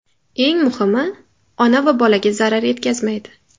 Eng muhimi, ona va bolaga zarar yetkazmaydi.